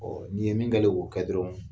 Ɔɔ nin ye min kɛlen ye ko kɛ dɔrɔn